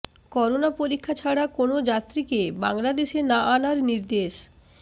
corona পরীক্ষা ছাড়া কোনো যাত্রীকে বাংলাদেশে না আনার নির্দেশ